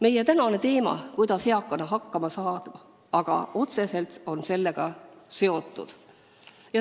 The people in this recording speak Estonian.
Meie tänane teema, kuidas eakana hakkama saada, on sellega otseselt seotud.